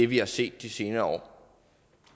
vi har set de senere